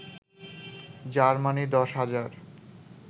Germany ১০ হাজার